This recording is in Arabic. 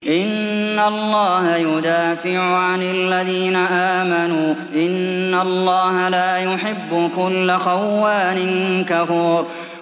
۞ إِنَّ اللَّهَ يُدَافِعُ عَنِ الَّذِينَ آمَنُوا ۗ إِنَّ اللَّهَ لَا يُحِبُّ كُلَّ خَوَّانٍ كَفُورٍ